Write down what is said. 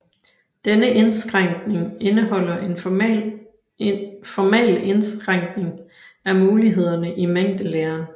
Denne indskrænkning indeholder en formal indskrænkning af mulighederne i mængdelæren